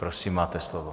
Prosím, máte slovo.